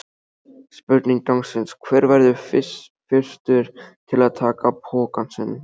Spurning dagsins: Hver verður fyrstur til að taka pokann sinn?